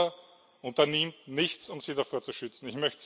Und Europa unternimmt nichts, um sie davor zu schützen.